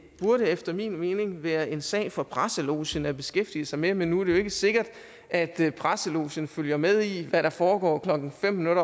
burde efter min mening være en sag for presselogen at beskæftige sig med men nu er det jo ikke sikkert at presselogen følger med i hvad der foregår klokken atten nul